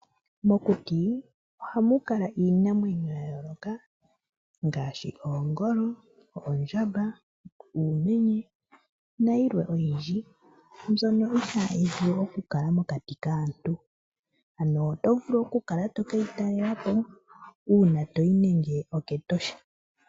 Mokuti ohamu kala iinamwenyo yayooloka ngaashi , oongolo, oondjamba, uumenye nayilwe oyindji mbyoka itahi vulu okukala mokati kaantu, ano oto vulu okukala to keyi talela po una toyi nande okEtosha.